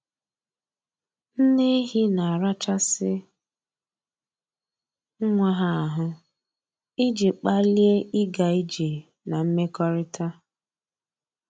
Nne ehi na-arachasị nwa ha ahụ iji kpalie ịga ije na mmekọrịta